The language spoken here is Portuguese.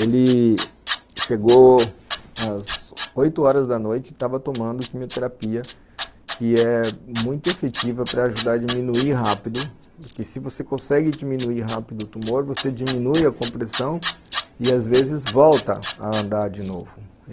Ele chegou às oito horas da noite e estava tomando quimioterapia, que é muito efetiva para ajudar a diminuir rápido, porque se você consegue diminuir rápido o tumor, você diminui a compressão e às vezes volta a andar de novo.